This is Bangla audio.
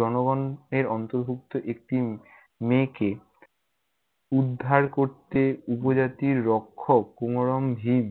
জনগণ এর অন্তর্ভুক্ত একটি মেয়েকে উদ্ধার করতে, উপজাতির রক্ষক কুমরম ভীম